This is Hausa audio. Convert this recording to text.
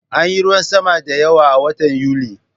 Anyi ruwan sama da yawa a watan Yuli